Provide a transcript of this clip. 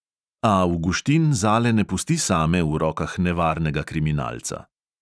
A avguštin zale ne pusti same v rokah nevarnega kriminalca.